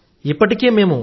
ఇప్పటికీ మేం